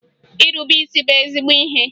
Irube isi bụ ezigbo ihe